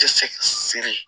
Tɛ se ka siri